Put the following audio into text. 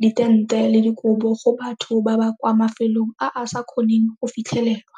ditente le dikobo go batho ba ba kwa mafelong a a sa kgoneng go fitlhelelwa.